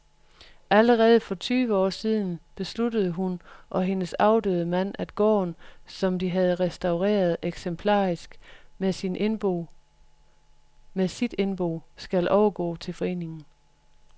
Allerede for tyve år siden besluttede hun og hendes afdøde mand, at gården, som de har restaureret eksemplarisk, med sit indbo skal overgå til foreningen